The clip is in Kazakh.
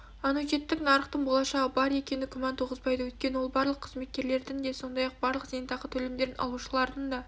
аннуитеттік нарықтың болашағы бар екені күмән туғызбайды өйткені ол барлық қызметкерлердің де сондай-ақ барлық зейнетақы төлемдерін алушылардың да